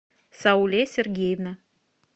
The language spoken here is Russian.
сауле сергеевна